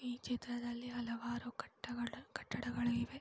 ಈ ಚಿತ್ರದಲ್ಲಿ ಹಲವಾರು ಕಟ್ಟಗಳು ಕಟ್ಟಡಗಳು ಇವೆ.